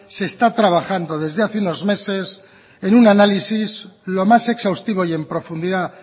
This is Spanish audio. se está trabajando desde hace unos meses en un análisis lo más exhaustivo y en profundidad